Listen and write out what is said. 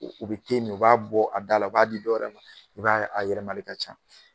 U u be min u b'a bɔ a da la, u b'a di dɔ wɛrɛ ma, i b'a ye a yɛlɛmali ka ca.